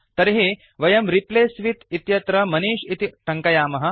तर्हि वयं replace with इत्यत्र मनिष् इति टङ्कयामः